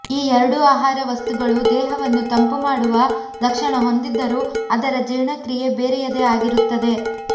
ಈ ಎರಡೂ ಆಹಾರ ವಸ್ತುಗಳು ದೇಹವನ್ನು ತಂಪು ಮಾಡುವ ಲಕ್ಷಣ ಹೊಂದಿದ್ದರೂ ಅದರ ಜೀರ್ಣಕ್ರೀಯೆ ಬೇರೆಯದೇ ಆಗಿರುತ್ತದೆ